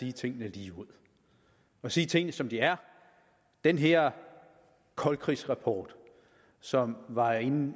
sige tingene ligeud og sige tingene som de er den her koldkrigsrapport som var en